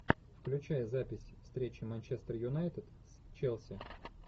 включай запись встречи манчестер юнайтед с челси